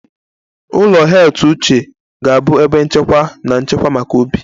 Ụlọ heath uche ga-abụ ebe nchekwa na nchekwa maka Obi